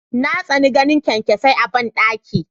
Na tsani ganin kyankyasai ina bandaki.